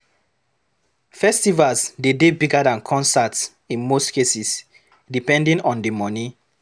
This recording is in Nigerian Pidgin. Festivals de dey bigger than concerts in most cases, depending on di money